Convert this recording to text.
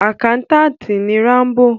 Àkántàntì ni Rámbò.